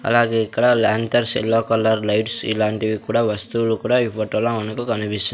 అలాగే ఇక్కడ lanterns yellow colour lights ఇలాంటివి కూడా వస్తువులు కూడా ఈ ఫోటో లో మనకు కనిపిస్త--